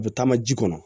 A bɛ taama ji kɔnɔ